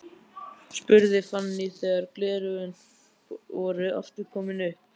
spurði Fanný þegar gleraugun voru aftur komin upp.